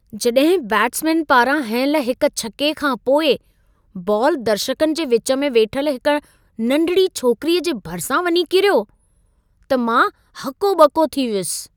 जॾहिं बैटसमेन पारां हयंल हिक छके खां पोइ बॉल दर्शकनि जे विच में वेठल हिक नंढिड़ी छोकिरीअ जे भरिसां वञी किरियो, त मां हको ॿको थी वियुसि।